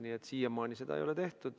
Nii et siiamaani seda ei ole tehtud.